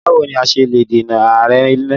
Báwo ni a ṣe lè dènà àárẹ̀ ilẹ̀?